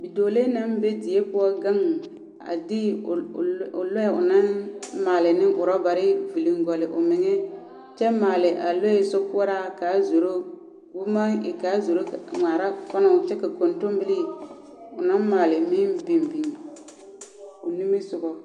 Bidͻͻlee naŋ be die poͻ gaŋe, a de o lͻ o o lͻԑ onaŋ maale ne orͻbare viliŋgͻlli omeŋԑ kyԑ maale a lͻԑ sokoͻraa ka zoro, koo maŋ e ka a zoro ŋmaara kͻnͻ kyԑ ka kontombilii onaŋ maale meŋ biŋ biŋ o nimisogͻŋ.